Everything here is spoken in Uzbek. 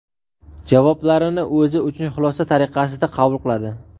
javoblarini o‘zi uchun xulosa tariqasida qabul qiladi.